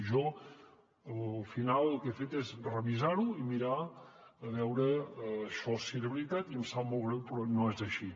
i jo al final el que he fet és revisar ho i mirar a veure això si era veritat i em sap molt greu però no és així